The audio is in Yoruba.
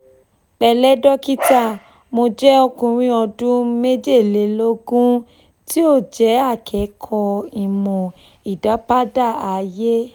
pẹ̀lẹ́ dókítà mo jẹ́ ọkùnrin ọdún mejeleloogun tí ó jẹ́ akẹ́kọ̀ọ́ ìmọ̀ ìdápadà ayé